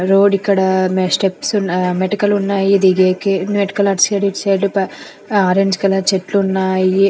Road ఇక్కడ మె steps ఉన్నా- ఆ మెటికలు ఉన్నాయి ఇది గే కె మెటికలు అటు సైడ్ ఇటు సైడ్ ఆ ఆరెంజ్ కలర్ చెట్లున్నాయి.